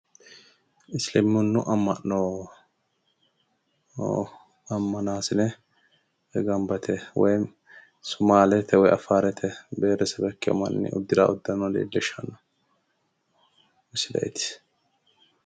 isiliminnu amma'no ammanaasine gamba yite sumaalete woyi affaarete beetedebe ikkino manni uddiranno uddano leellishshanno misileeti.